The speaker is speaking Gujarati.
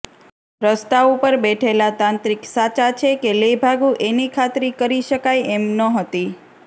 રસ્તા ઉપર બેઠેલા તાંત્રિક સાચા છે કે લેભાગુ એની ખાતરી કરી શકાય એમ નથી હોતી